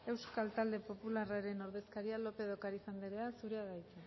euskal talde popularraren ordezkaria lópez de ocariz anderea zurea da hitza